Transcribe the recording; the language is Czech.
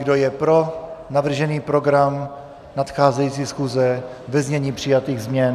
Kdo je pro navržený program nadcházející schůze ve znění přijatých změn?